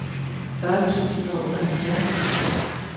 fyrre tusind og otteoghalvfjerds